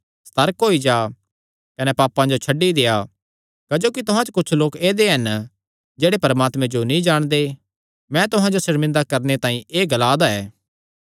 सतर्क होई जा कने पाप करणा छड्डी देआ क्जोकि तुहां च कुच्छ लोक ऐदेय हन जेह्ड़े परमात्मे जो नीं जाणदे मैं तुहां जो सर्मिंदा करणे तांई एह़ ग्लादा ऐ